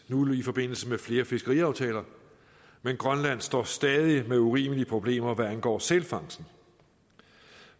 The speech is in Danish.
nu i forbindelse med flere fiskeriaftaler men grønland står stadig med urimelige problemer hvad angår sælfangsten